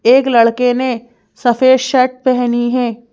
एक लड़के नेसफेद शर्ट पहनी है ।